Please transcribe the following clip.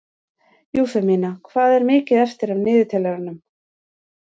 Eufemía, hvað er mikið eftir af niðurteljaranum?